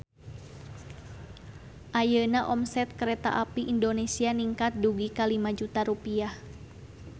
Ayeuna omset Kereta Api Indonesia ningkat dugi ka 5 juta rupiah